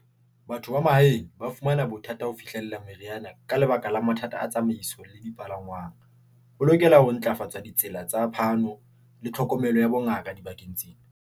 Batho ba mahaeng ba fumana bothata ho fihlella meriana. Ka lebaka la mathata a tsamaiso le dipalangwang. Ho lokela ho ntlafatswa ha ditsela tsa phano le tlhokomelo ya bongaka dibakeng tse.